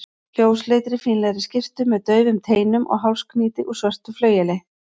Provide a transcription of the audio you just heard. ljósleitri, fínlegri skyrtu með daufum teinum og hálsknýti úr svörtu flaueli.